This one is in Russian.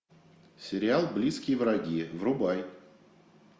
сериал близкие враги врубай